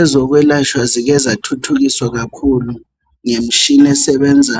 Ezokwelatshwa zikezathuthukiswa kakhulu ngemtshina esebenza